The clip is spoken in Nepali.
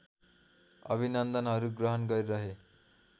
अभिनन्दनहरू ग्रहण गरिरहे